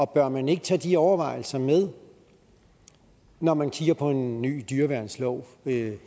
bør man ikke tage de overvejelser med når man kigger på en ny dyreværnslov